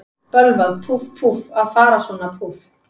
Bölvað, púff, púff, að fara svona, púff.